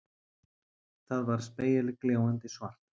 Það var spegilgljáandi svart.